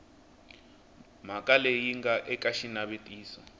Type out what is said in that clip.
mhaka leyi nga eka xinavetiso